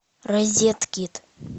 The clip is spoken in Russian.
розет кид